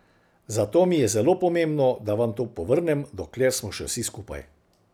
Zato mi je zelo pomembno, da vam to povrnem, dokler smo še vsi skupaj.